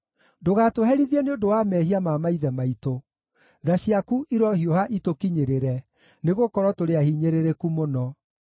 Ndũgatũherithie nĩ ũndũ wa mehia ma maithe maitũ; tha ciaku irohiũha itũkinyĩrĩre, nĩgũkorwo tũrĩ ahinyĩrĩrĩku mũno.